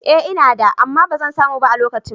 Ee ina da, amma ba zan samu ba a lokacin.